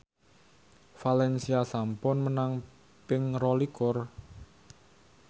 valencia sampun menang ping rolikur